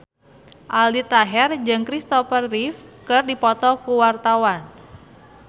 Aldi Taher jeung Christopher Reeve keur dipoto ku wartawan